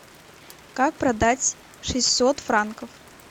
как продать шестьсот франков